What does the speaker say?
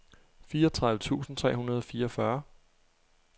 fireogtredive tusind tre hundrede og fireogfyrre